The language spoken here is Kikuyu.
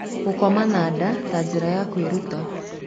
Gũkoma na nda ta njĩra ya kũĩruta